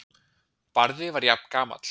Barði var jafngamall